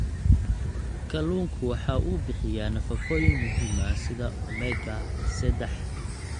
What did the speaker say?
Kalluunku waxa uu bixiyaa nafaqooyin muhiim ah sida omega-sedax.